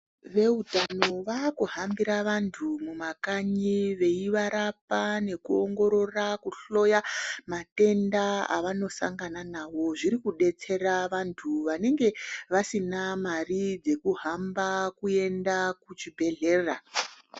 Veutano vaakuhambira vantu mumakanyi veivarapa nekuongorora ,kuhloya matenda avanosangana nawo zviri kudetsera vantu vanenge vasina mare dzekuhamba kuenda kuchibhehlera